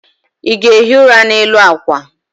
ị ga-ehi ụra n'elu akwa?